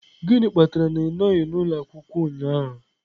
Gịnị kpatara na ị nọghị n'ụlọ akwụkwọ ụnyahụ?